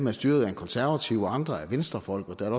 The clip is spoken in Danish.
er styret af en konservativ andre af venstrefolk og der er